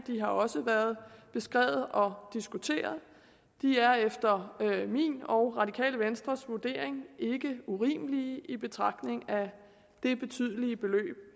de har også været beskrevet og diskuteret de er efter min og radikale venstres vurdering ikke urimelige i betragtning af det betydelige beløb